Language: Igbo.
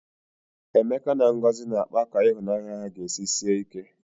Emeka na Ngozi na-akpa ka ịhụnanya ha ga-esi sie ike.